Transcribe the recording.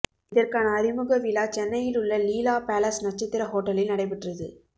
இதற்கான அறிமுக விழா சென்னையில் உள்ள லீலா பேலஸ் நட்சத்திர ஹோட்டலில் நடைபெற்றது